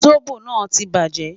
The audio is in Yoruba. Zobo naa ti baje